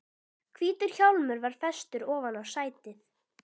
Hvítur hjálmur var festur ofan á sætið.